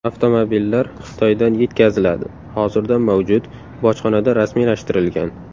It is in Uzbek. Avtomobillar Xitoydan yetkaziladi, hozirda mavjud, bojxonada rasmiylashtirilgan.